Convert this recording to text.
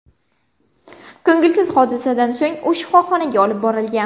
Ko‘ngilsiz hodisadan so‘ng u shifoxonaga olib borilgan.